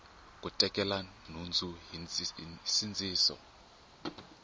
ku tekela nhundzu hi nsindziso